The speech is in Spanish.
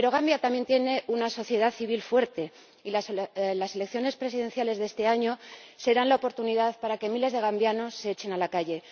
Pero Gambia también tiene una sociedad civil fuerte y las elecciones presidenciales de este año serán la oportunidad para que miles de gambianos se echen a la calle.